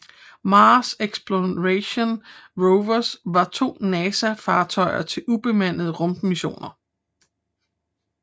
Mars Exploration Rovers var to NASA fartøjer til ubemandede rummissioner